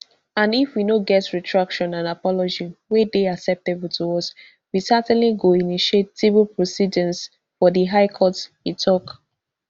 and if we no get retraction and apology wey dey acceptable to us we certainly go initiate civil proceedings for di high court e tok